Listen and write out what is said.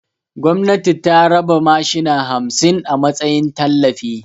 Gwamnati ta rabar da mashina hamsin a matsayin tallafi